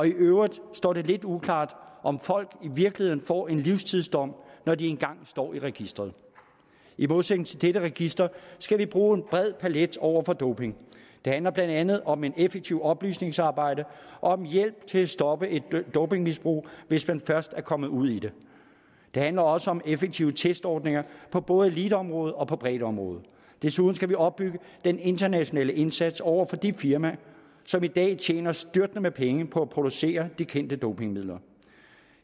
i øvrigt står det lidt uklart om folk i virkeligheden får en livstidsdom når de én gang står i registeret i modsætning til dette register skal vi bruge en bred palet over for doping det handler blandt andet om et effektivt oplysningsarbejde og om hjælp til at stoppe et dopingmisbrug hvis man først er kommet ud i det det handler også om effektive testordninger på både eliteområdet og på breddeområdet desuden skal vi opbygge den internationale indsats over for de firmaer som i dag tjener styrtende med penge på at producere de kendte dopingmidler